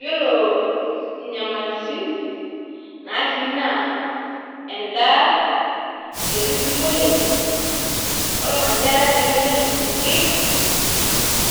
Iyiolo inyamalitin natii naa endaa, eti sii imuyiaritin, ormanyarra lemenyor ising'ir